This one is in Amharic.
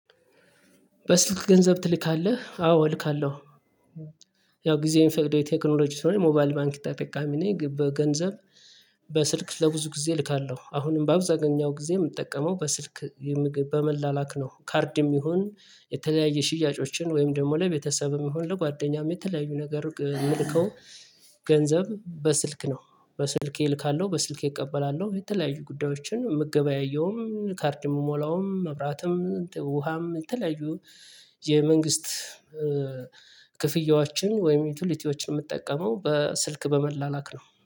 በስልክ ገንዘብ ትልካለህ? አዎ እልካለሁ ያው ጊዜው የሚፈቅደው የቴክኖሎጂ ስለሆነ የሞባል ባንክ ተጠቃሚ ነኝ በገንዘብ በስልክ ለብዙ ጊዜ እልካለሁ አሁንም በአብዛኛው ጊዜ የምጠቀመው በስልክ የምግብ በመላላክ ነው ካርድም ይሁን የተለያየ ሽያጮችን ወይም ደግሞ ላይ ቤተሰብም ይሁን ለጓደኛም የተለያዩ ነገር የምልከው ገንዘብ በስልክ ነው በስልኬ እልካለሁ በስልኬ እቀበላለሁ የተለያዩ ጉዳዮችን የምገበያየውም ካርድ የምሞላውም መብራትም ውሃም የተለያዩ የመንግስት ክፍያዎችን ወይም ዩቲሊቲዎችን የምጠቀመው በስልክ በመላላክ ነው።